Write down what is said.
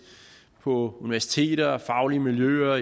på universiteter i faglige miljøer